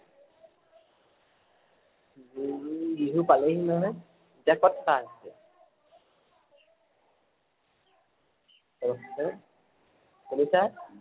বুলু বিহু পালেহি নহয় শুনিছা?